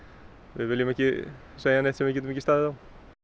við viljum ekki segja neitt sem við getum ekki staðið á